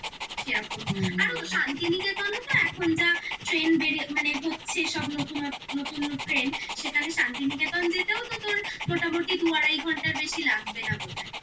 সেরকম হুম আরো শান্তিনিকেতনও তো এখন যা train বেড়ে মানে হচ্ছে সব নতুনত্ব নতুন train শান্তিনিকেতন যেতেও তো তোর মোটামুটি দু আড়াই ঘন্টার বেশি লাগবে না বোধহয়